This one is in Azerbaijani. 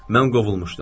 Mən qovulmuşdum.